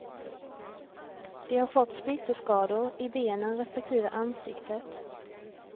De har fått splitterskador, i benen respektive ansiktet.